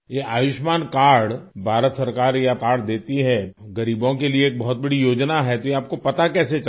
ये आयुष्मान कार्ड भारत सरकार यह कार्ड देती है गरीबों के लिए बहुत बड़ी योजना है तो ये आप को पता कैसे चला